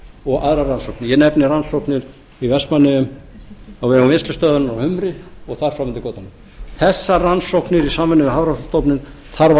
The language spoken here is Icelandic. og aðrar rannsóknir ég nefni rannsóknir í vestmannaeyjum á vegum vinnslustöðvarinnar á humri og þar fram eftir götunum þessar rannsóknir í samvinnu við hafrannsóknastofnun þarf að